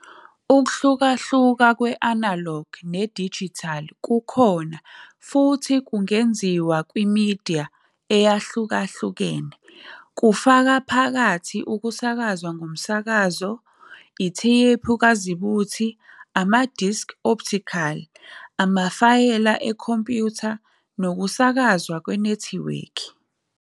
Ukuhlukahluka kwe-analog ne-digital kukhona futhi kungenziwa kwimidiya eyahlukahlukene, kufaka phakathi ukusakazwa ngomsakazo, itheyiphu kazibuthe, ama-disc optical, amafayela ekhompyutha nokusakazwa kwenethiwekhi.